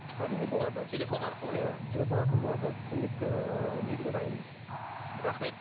әрине болады телефон арқылы иә телефон арқылы болады көмек ыыы беруге дайынбыз рахмет